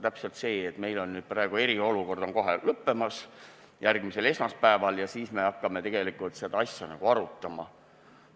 Täpselt nagu praegu, kui meil on eriolukord kohe lõppemas, järgmisel esmaspäeval, aga siis me hakkame alles seda asja arutama.